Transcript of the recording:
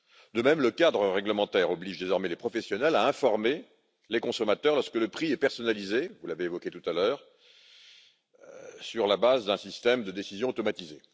De même, le cadre réglementaire oblige désormais les professionnels à informer les consommateurs, lorsque le prix est personnalisé vous l'avez évoqué tout à l'heure sur la base d'un système de décision automatisée.